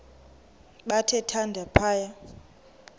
bathe thande phaya